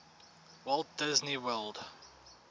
walt disney world